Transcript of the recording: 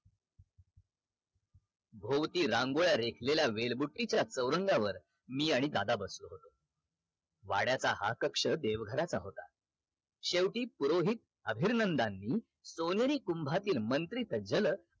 भोवती रांगोळ्या रेखलेल्या वेळ बुट्टीच्या चौरंगावर मी आणि दादा बसलो होतो वाड्याचा हा कक्ष देव घराचा होता शेवटी पुरोहित अभिर्नंदांनी सोनेरी कुंभातील मंत्री सज्जल